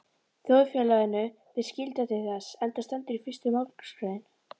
Þjóðfélaginu ber skylda til þess, enda stendur í fyrstu málsgrein